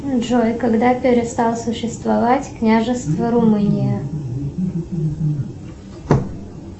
джой когда перестал существовать княжество румыния